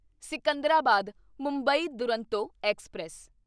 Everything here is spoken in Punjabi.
ਸਿਕੰਦਰਾਬਾਦ ਮੁੰਬਈ ਦੁਰੰਤੋ ਐਕਸਪ੍ਰੈਸ